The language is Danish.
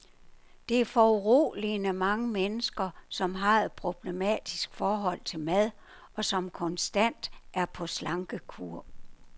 Der er foruroligende mange mennesker, som har et problematisk forhold til mad, og som konstant er på slankekur.